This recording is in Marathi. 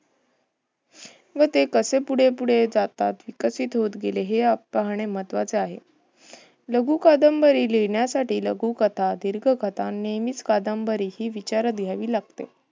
व ते कसे पुढे पुढे जातात? विकसित होत गेले. हे पाहणे महत्वाचे आहे. लघु कादंबरी लिहण्यासाठी लघुकथा, दीर्घकथा नियमित कादंबरी हि विचारात घ्यावी लागते.